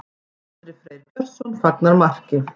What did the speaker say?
Andri Freyr Björnsson fagnar marki.